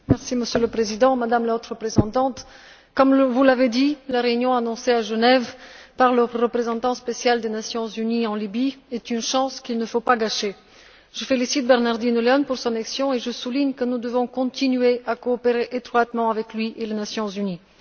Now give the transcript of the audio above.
Monsieur le Président, Madame la Haute représentante, comme vous l'avez dit, la réunion annoncée à Genève par le représentant spécial des Nations unies en Libye est une chance qu'il ne faut pas gâcher. Je félicite Bernardino Léon pour son action, et je souligne que nous devons continuer à coopérer étroitement avec lui et les Nations unies.